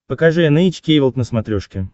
покажи эн эйч кей волд на смотрешке